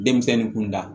Denmisɛnnin kun da